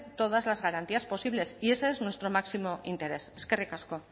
todas las garantías posibles y ese es nuestro máximo interés eskerrik asko